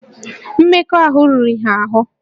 Mmekọahụ riri ha ahụ